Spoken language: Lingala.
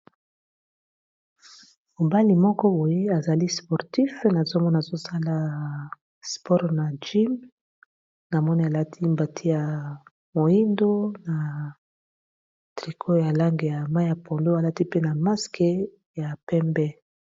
mobali moko boye azali sportif nazomona azosala spore na jeam na moni alati mbati ya moyindo na triko ya lange ya mai ya ponlo alati pe na maske ya pembe